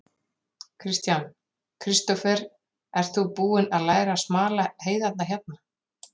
Kristján: Kristófer, ert þú búinn að læra að smala heiðarnar hérna?